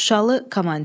Şuşalı komandir.